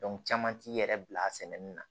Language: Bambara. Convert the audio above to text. caman t'i yɛrɛ bila a sɛnɛni na